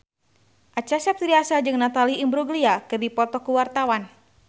Acha Septriasa jeung Natalie Imbruglia keur dipoto ku wartawan